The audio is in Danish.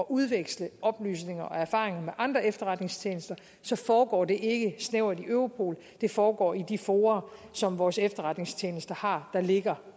udveksle oplysninger og erfaringer med andre efterretningstjenester foregår det ikke snævert i europol det foregår i de fora som vores efterretningstjenester har der ligger